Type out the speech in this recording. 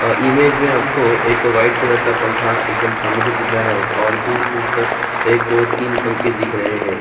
और इमेज में आपको एक व्हाइट कलर का पंखा एकदम सामने से दिख रहा हैं और दूर दूर तक एक दो तीन पंखे दिख रहे है।